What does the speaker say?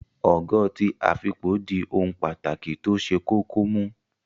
Ogo ti afipo di ohun pàtàkì tó ṣe kókó mú